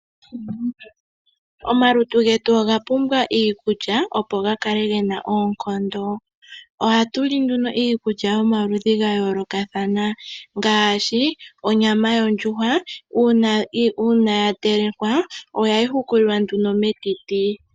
Omalutu getu oga pumbwa iikulya opo ga kale gena oonkondo. Ohatu li nduno iikulya yomaludhi gayolokathana ngaashi onyama ondjuhwa. Uuna ya telekwa oha yi hukulilwa nduno metiti.